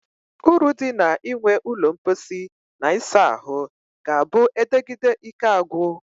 Uru di na inwe ulo mposi na isa ahu ga-a bu edegide Ike agwu.